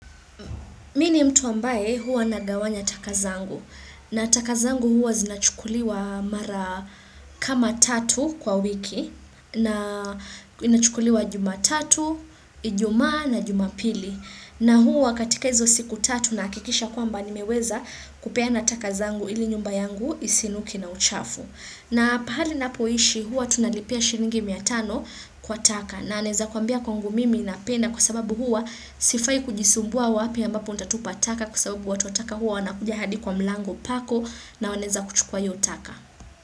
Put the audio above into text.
Mi ni mtu ambaye huwa nagawanya taka zangu na taka zangu huwa zinachukuliwa mara kama tatu kwa wiki na inachukuliwa jumatatu, ijumaa na jumapili na huwa katika hizo siku tatu nahakikisha kwamba nimeweza kupeana taka zangu ili nyumba yangu isinuke na uchafu. Na pahali napoishi huwa tunalipia shiringi mia tano kwa taka na naeza kuambia kwangu mimi napenda kwa sababu huwa sifai kujisumbua wapi ambapo ntatupa taka kwa sababu watu wa taka huwa wanakuja hadi kwa mlango pako na wanaeza kuchukua hiyo taka.